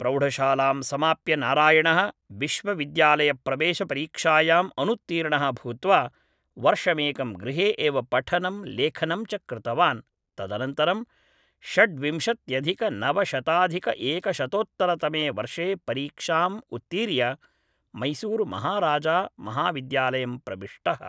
प्रौढशालां समाप्य नारायणः विश्वविद्यालयप्रवेशपरीक्षायां अनुत्तीर्णः भूत्वा वर्षमेकं गृहे एव पठनं लेखनं च कृतवान् तदनन्तरं षड्विंशत्यधिकनवशताधिकएकशतोत्तरतमे वर्षे परीक्षाम् उत्तीर्य मैसूरुमहाराजामहाविद्यालयं प्रविष्टः